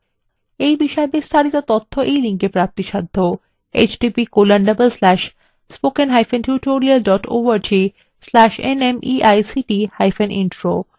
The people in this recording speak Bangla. এই বিষয় বিস্তারিত তথ্য এই লিঙ্কএ প্রাপ্তিসাধ্য